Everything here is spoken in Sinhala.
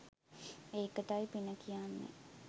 ඒකටයි පින කියන්නේ